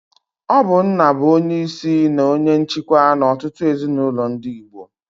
Ọ bu nna bu onye isi na onye nchikwa n'ọtụtụ ezinulo ndi Igbo.